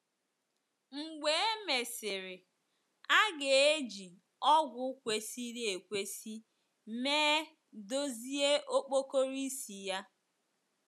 Mgbe e mesịrị, a ga - eji ọgwụ kwesịrị ekwesị mee dozie okpokoro isi ya.